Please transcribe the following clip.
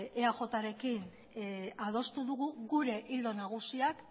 eajrekin adostu dugu gure ildo nagusiak